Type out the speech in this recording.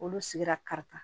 Olu sigira karita